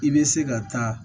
I bɛ se ka taa